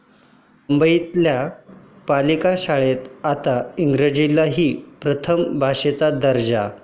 मुंबईतल्या पालिका शाळेत आता इंग्रजीलाही प्रथम भाषेचा दर्जा!